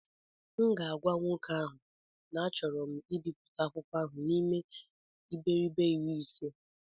M ga-agwa nwoke ahụ na achọrọ m ibipụta akwụkwọ ahụ n'ime iberibe iri ise